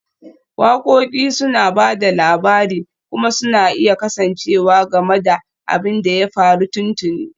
Waƙoƙi suna ba da labari kuma suna iya kasancewa game da abin da ya faru tuntuni